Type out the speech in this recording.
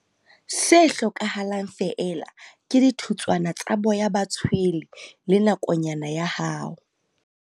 Se hlokahalang feela ke dithutswana tsa boya ba tshwele le nakonyana ya hao.